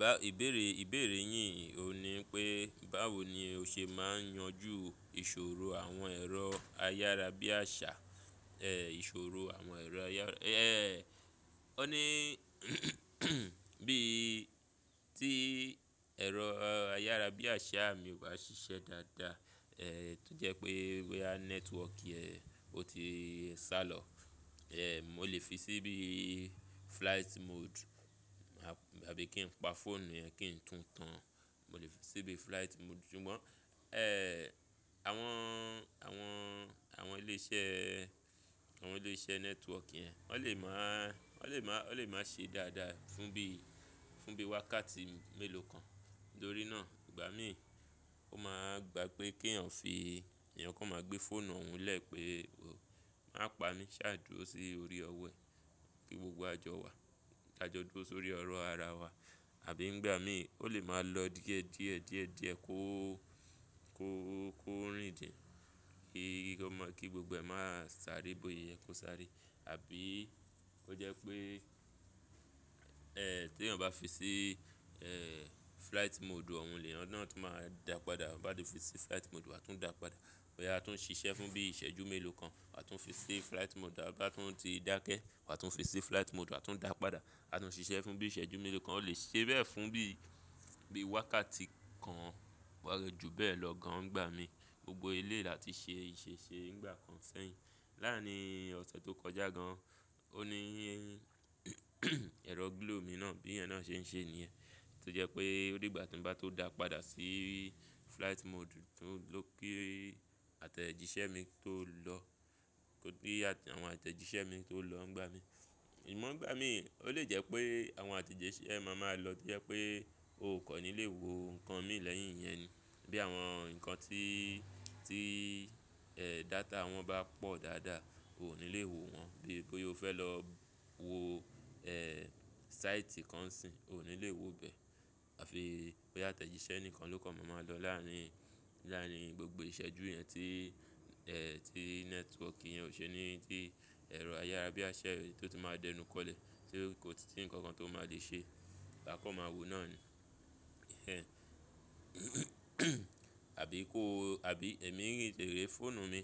Bá ìbéèrè ìbéèrè yín ò ní pé báwo ni o ṣe máa ń yanjú ìṣòro àwọn ẹ̀rọ ayára bí àṣá, ẹ́ ìṣòro àwọn ẹ̀rọ ayára, ẹ́ ó ní bí tí ẹ̀rọ ayára bí àṣá mi kò bá ṣiṣẹ́ dáadáa, ẹ́ tí ó jẹ́ pé wia network ẹn ó ti sálọ, ẹ́ mo lè fi síbí flight mode àbí kí n pa fóònù yẹn kí ń tún tán. Mo lè fi síbí flight mode. Ṣùgbọ́n ẹ́ àwọn àwọn àwọn ilé iṣẹ́ àwọn ilé iṣẹ́ network yẹn wọ́n lè máà wọ́n lè máà wọ́n lè máa ṣe dáadáa fún bí fún bí wákàtí mélòó kan. Nítorí náà ìgbà mí ò máa gbà pé kí èyàn fi èyàn kan máa gbé fóònù òun lẹ́ pé o máa pa mí ṣáájú sí orí ọwọ́ ẹ kí gbogbo àjọ wa dáa jọ dúró sórí ọrọ̀ ara wa. Àbí ńgbà mí ó lè máa lọ díẹ̀ díẹ̀ díẹ̀ díẹ̀ kó kó kó rìndìn kí ó máa kí gbogbo ẹ̀ máa sáré bóye ẹ kó sáré. Àbí ó jẹ́ pé ẹ́ tí èyàn bá fi sí ẹ́ flight mode òun lè, ọ̀nà tó máa dà pa dà, a bá ti fi sí flight mode wa tún dà pa dà. Wia a tún ṣiṣẹ́ fún bí ìṣẹ́jú mélòó kan, a tún fi sí flight mode a bá tún ti dákẹ́ a tún fi sí flight mode wa tún dà pa dà. A tún ṣiṣẹ́ fún bí ìṣẹ́jú mélòó kan ó lè ṣe bẹ́ẹ̀ fún bí bí wákàtí kan wọ̀lẹ́ ju bẹ́ẹ̀ lọ gan ìgbà mí. Gbogbo ilé láti ṣe ì ṣe ṣe nígbà kan sẹ́yìn. Láàárín ọ̀sẹ̀ tó kọjá gan, ó ní ẹ̀rọ glow mi náà bí ẹ́ náà ṣe ń ṣe nìyẹn. Tí ó jẹ́ pé ó rí ìgbà tí n bá tó dà pa dà sí flight mode ló kí àtẹ̀jíṣẹ́ mi tó lọ kó kí àwọn àtẹ̀jíṣẹ́ mi tó lọ ń gba mi. Àmọ̀ ń gba mi, ó lè jẹ́ pé àwọn àtẹ̀jíṣẹ́ ẹ máa máa lọ tí ẹ pé o kò ní lè wo nǹkan míì lẹ́yìn yẹn ni. Bí àwọn ǹkan tí tí ẹ́ data wọn bá pọ̀ dáadáa o ò ní lè wo wọn. Bí bóyo fẹ́ lọ wo ẹ́ sáìtì kan sì n ò ní lè wo bẹ́ẹ̀. Àfi bóyá àtẹ̀jíṣẹ́ ẹnìkan ló kan máa máa lọ láàárín láàárín gbogbo ìṣẹ́jú yẹn tí ẹ́ tí network yẹn ò ṣe ní tí ẹ̀rọ ayára bí àṣá rẹ tí ó tún máa dẹnu kọlẹ̀ tí kò tí nǹkan kan tó máa lè ṣe bákan máa wo náà ni. Ẹ̀ àbí kó àbí èmi n rí ìbéèrè fóònù mi,